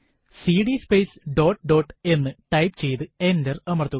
CD space dot dot എന്ന type ചെയ്ത് enter അമർത്തുക